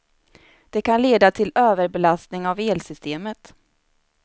Det kan leda till överbelastning av elsystemet.